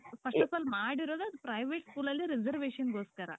first of all ಮಾಡಿರಾದ್ private school ಅಲ್ಲಿ reservation ಗೋಸ್ಕರ .